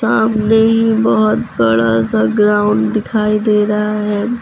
सामने ही बहुत बड़ा सा ग्राउंड दिखाई दे रहा है।